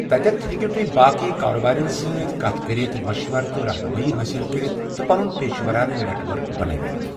تتٮ۪تھ ہیٚکو تہۍ باقٕے کارٕبٲرٮ۪ن سۭتۍ کتھ کٔرِتھ، مَشوَرٕ تہٕ رہنُمٲیی حٲصِل کٔرِتھ، تہٕ پنُن پیٚشہٕ وَرانہٕ نٮ۪ٹ ؤرک بنٲوتھ۔